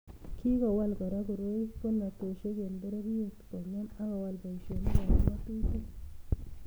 Kikowal Kora koroi bolatosiek eng pororiet kongem akowal boisionikab ngatutik